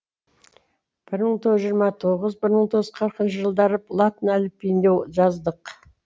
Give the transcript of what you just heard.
бір мың тоғыз жүз жиырма тоғыз бір мың тоғыз жүз қырықыншы жылдары латын әліпбиінде жаздық